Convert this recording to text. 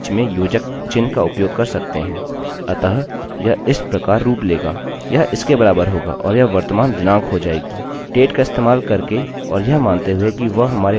dateडेटका इस्तेमाल करके और यह मानते हुए कि वह हमारे date की संरचना में हैहम इसे अपने टेबलतालिकामें यहाँ प्रविष्ट कर सकते हैं